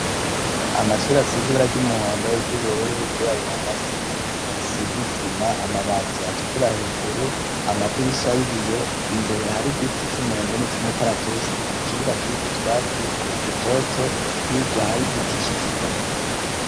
Amashuri asizibara ry'umuhondo w'iryoubururi wgira aburahasi asizisima amabati atukura hejuru amadirisha y'ibiyo imbere hari giti c'umwembe n'i c'umukaratusi ikibuga kiri ku twatsi dutoto hirya hari giti c'ikigazi.